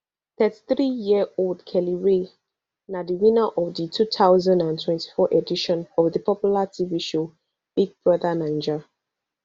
thirty-threeyearold kellyrae na di winner of di two thousand and twenty-four edition of di popular tv show big brother naija